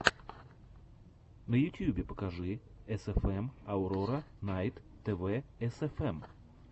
на ютьюбе покажи эсэфэм аурора найт тв эсэфэм